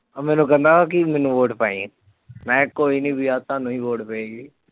ਮੈਨੂੰ ਕਹਿੰਦਾ ਕਿ ਮੈਨੂੰ vote ਪਾਈਂ ਮੈਂ ਕਿਹਾ ਕੋਈ ਨੀ ਵੀਰੇ ਤੁਹਾਨੂੰ ਹੀ vote ਪਏਗੀ